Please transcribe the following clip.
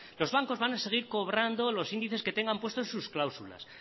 los bancos van a seguir cobrando los índices que tengan puestos en sus cláusulas